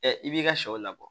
i b'i ka sɛw labɔ